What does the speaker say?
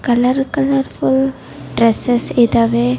Colour colourful dresses ಇದಾವೆ.